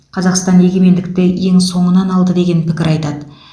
қазақстан егемендікті ең соңынан алды деген пікір айтады